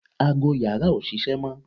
ago yàrá ò ṣiṣẹ́ mọ́